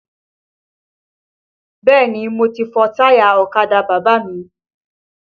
Bẹ́ẹ̀ni mo ti fọ táyà ọ̀kadà bàbá mi